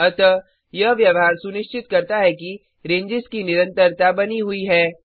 अतः यह व्यवहार सुनिश्चित करता है कि रेंजेस की निरंतरता बनी हुई है